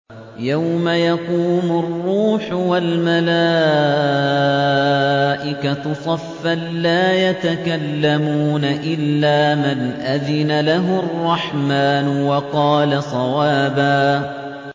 يَوْمَ يَقُومُ الرُّوحُ وَالْمَلَائِكَةُ صَفًّا ۖ لَّا يَتَكَلَّمُونَ إِلَّا مَنْ أَذِنَ لَهُ الرَّحْمَٰنُ وَقَالَ صَوَابًا